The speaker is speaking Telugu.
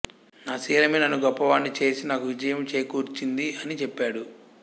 నా శీలమే నన్ను గొప్ప వాడిని చేసి నాకు విజయము చేకూర్చింది అని చెప్పాడు